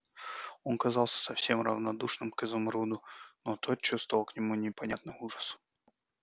он казался совсем равнодушным к изумруду но тот чувствовал к нему непонятный ужас